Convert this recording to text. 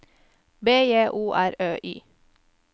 B J O R Ø Y